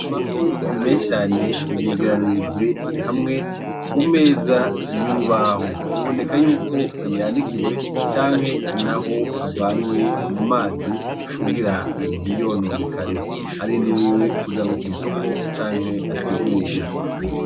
Amafi menshi cane yegeranirijwe hamwe kumeza y'urubaho. Biboneka yuko yanikiwe canke naho avanywe mu mazi kugira ntiyononekare. Arindiriwe kujanwa kw'isoko canke ategurwe.